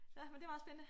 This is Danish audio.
Ja men det meget spændende